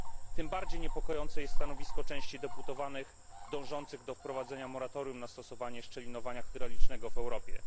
Tym bardziej niepokojące jest stanowisko części posłów dążących do wprowadzenia moratorium na stosowanie szczelinowania hydraulicznego w Europie.